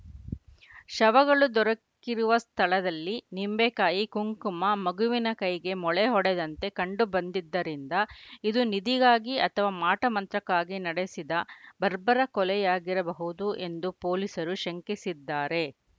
ಶವಗಳು ದೊರಕಿರುವ ಸ್ಥಳದಲ್ಲಿ ನಿಂಬೆಕಾಯಿ ಕುಂಕುಮ ಮಗುವಿನ ಕೈಗೆ ಮೊಳೆ ಹೊಡೆದಂತೆ ಕಂಡು ಬಂದಿದ್ದರಿಂದ ಇದು ನಿಧಿಗಾಗಿ ಅಥವಾ ಮಾಟ ಮಂತ್ರಕ್ಕಾಗಿ ನಡೆಸಿದ ಬರ್ಬರ ಕೊಲೆಯಾಗಿರಬಹುದು ಎಂದು ಪೊಲೀಸರು ಶಂಕಿಸಿದ್ದಾರೆ